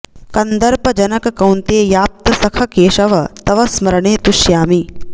कन्दर्प जनक कौन्तेयाप्त सख केशव तव स्मरणे तुष्यामि